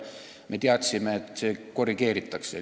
Me teadsime, et seda korrigeeritakse.